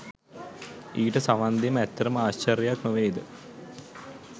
ඊට සවන් දීම ඇත්තටම ආශ්චර්යයක් නොවේද?